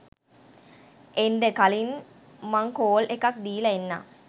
එන්ඩ කලින් මං කෝල් එකක් දීලා එන්නම්